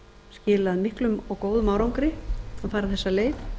skilað miklum og góðum árangri að fara þessa leið